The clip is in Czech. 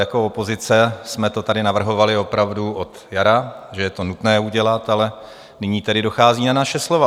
Jako opozice jsme to tady navrhovali opravdu od jara, že je to nutné udělat, ale nyní tedy dochází na naše slova.